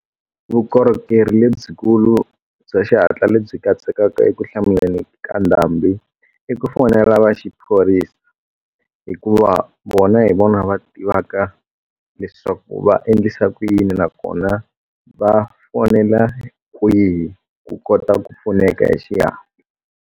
Vukorhokeri lebyikulu bya xihatla lebyi katsekaka eku hlamuleni ka ndhambi i ku fonela va xiphorisa hikuva vona hi vona va tivaka leswaku va endlisa ku yini nakona va fonela kwihi ku kota ku pfuneka hi xihatla.